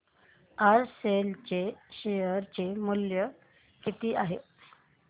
आज सेल चे शेअर चे मूल्य किती आहे